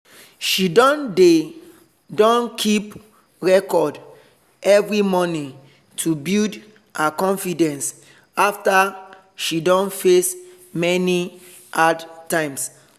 she don dey don keep record every morning to build her confidence after she don face many hard times